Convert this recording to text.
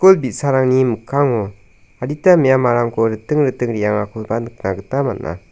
ul bi·sarangni mikkango adita me·amarangko riting riting re·angakoba nikna gita man·a.